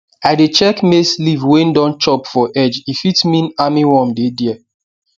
i dey check maize leaf wey don chop for edge e fit mean armyworm dey there